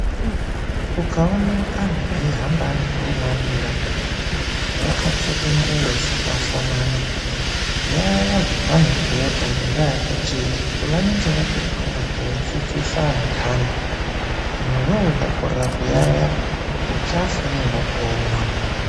Ukaone veihamba varigurumwandira vakapfeka nguwo dzakafanana yaiaya zvavanobhuyapo ngendaa yekuti vanenge vatotumwa kunodzidzise antaani, iwewe ukakorera kuyayeya uchafa ngeinoponwa.